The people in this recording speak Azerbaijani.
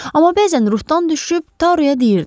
Amma bəzən ruhdan düşüb Taruya deyirdi.